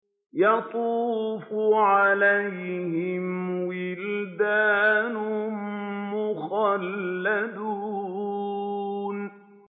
يَطُوفُ عَلَيْهِمْ وِلْدَانٌ مُّخَلَّدُونَ